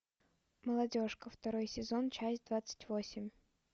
молодежка второй сезон часть двадцать восемь